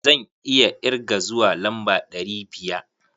Zan iya irge zuwa lamba ɗari biya.